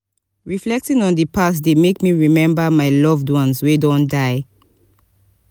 reflecting on di past dey make me remember my loved ones wey don die.